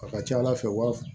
A ka ca ala fɛ u b'a f